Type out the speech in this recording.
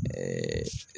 Ɛɛ